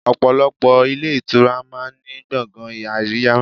Ọ̀pọ̀lọpọ̀ ilé ìtura máa ń ní gbọ̀ngàn àríyá.